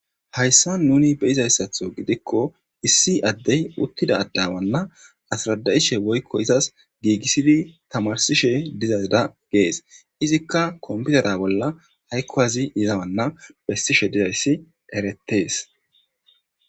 Hayssa nuni be izayssatho gidikko issi addey uttida addawanna asrada'ishe woykko izas giigissidi tamarsishe dizazda gees izikka komputera bolla haykko azi izawanna bessishe dizayssi eretees.